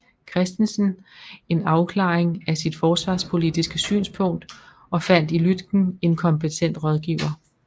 Christensen en afklaring af sit forsvarspolitiske synspunkt og fandt i Lütken en kompetent rådgiver